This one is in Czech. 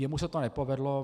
Jemu se to nepovedlo.